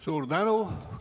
Suur tänu!